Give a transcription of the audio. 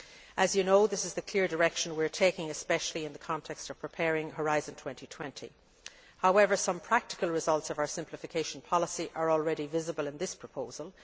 As you know, this is the clear direction we are taking, especially in the context of preparing Horizon 2020. However, some practical results of our simplification policy are already visible in this proposal.